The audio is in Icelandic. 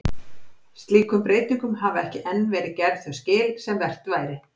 Slíkum breytingum hafa ekki enn verið gerð þau skil sem vert væri.